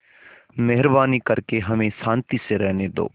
मेहरबानी करके हमें शान्ति से रहने दो